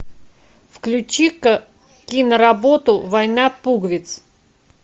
включи ка киноработу война пуговиц